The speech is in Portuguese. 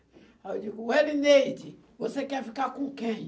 Aí eu digo, Elineide, você quer ficar com quem?